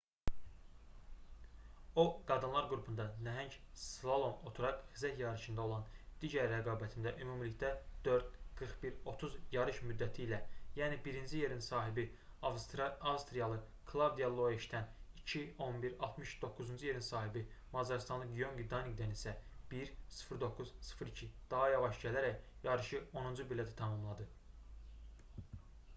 o qadınlar qrupunda nəhəng slalom oturaq xizək yarışında olan digər rəqabətində ümumilikdə 4:41:30 yarış müddəti ilə yəni birinci yerin sahibi avstriyalı klavdiya loeşdən 2:11:60 doqquzuncu yerin sahibi macarıstanlı gyöngi danidən isə 1:09:02 daha yavaş gələrək yarışı onuncu pillədə tamamladı